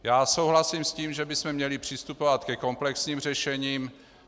Já souhlasím s tím, že bychom měli přistupovat ke komplexním řešením.